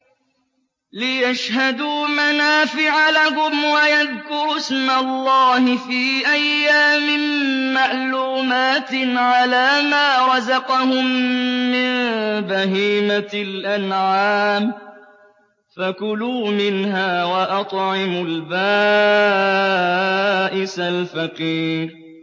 لِّيَشْهَدُوا مَنَافِعَ لَهُمْ وَيَذْكُرُوا اسْمَ اللَّهِ فِي أَيَّامٍ مَّعْلُومَاتٍ عَلَىٰ مَا رَزَقَهُم مِّن بَهِيمَةِ الْأَنْعَامِ ۖ فَكُلُوا مِنْهَا وَأَطْعِمُوا الْبَائِسَ الْفَقِيرَ